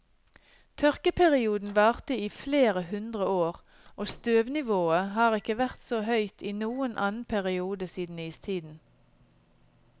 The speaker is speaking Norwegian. Tørkeperioden varte i flere hundre år, og støvnivået har ikke vært så høyt i noen annen periode siden istiden.